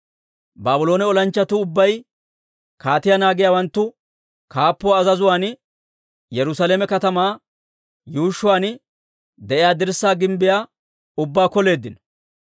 Baabloone olanchchatuu ubbay kaatiyaa naagiyaawanttu kaappuwaa azazuwaan Yerusaalame katamaa yuushshuwaan de'iyaa dirssaa gimbbiyaa ubbaa koleeddino.